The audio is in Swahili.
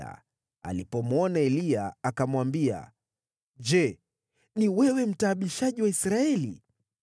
Ahabu alipomwona Eliya, akamwambia, “Je, ni wewe, mtaabishaji wa Israeli?”